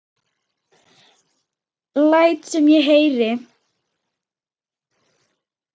Læt sem ég heyri.